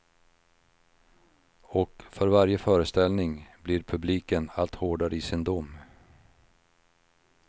Och för varje föreställning blir publiken allt hårdare i sin dom.